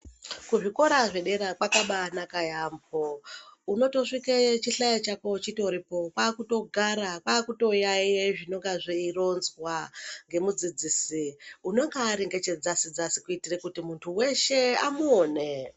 Kuzvikora zvedera kwakabanaka yambo unotosvika chihlayo chako chiriko kwakutogara kwakutoyaiya zvinenge zveironzwa nemudzidzisi unonga Ari nechedzasi dzasi kuitira kuti muntu weshe amuone.